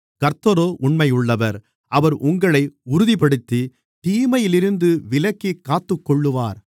கர்த்தரோ உண்மையுள்ளவர் அவர் உங்களை உறுதிப்படுத்தி தீமையிலிருந்து விலக்கிக் காத்துக்கொள்ளுவார்